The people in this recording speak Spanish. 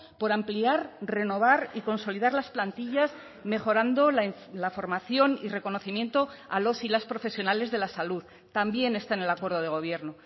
por ampliar renovar y consolidar las plantillas mejorando la formación y reconocimiento a los y las profesionales de la salud también está en el acuerdo de gobierno